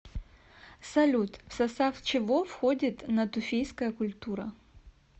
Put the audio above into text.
салют в состав чего входит натуфийская культура